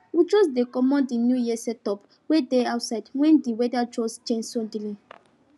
we just dey comot the new year setup wey dey outside when the weather just change suddenly